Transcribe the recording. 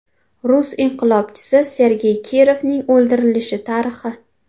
Rus inqilobchisi Sergey Kirovning o‘ldirilishi tarixi.